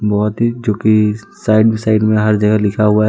बहुत ही चुकी साइड साइड में हर जगह लिखा हुआ है।